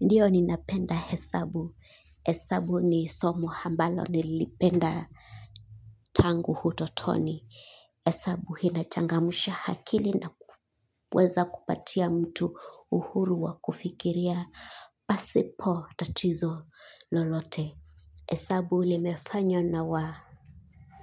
Ndiyo ninapenda hesabu. Hesabu ni somo ambalo nililipenda tangu utotoni. Hesabu inachangamsha akili na kuweza kupatia mtu uhuru wa kufikiria pasipo tatizo lolote. Hesabu limefanywa na